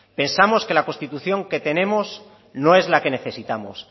pensamos que la constitución que tenemos no es la que necesitamos